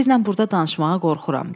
Sizlə burda danışmağa qorxuram.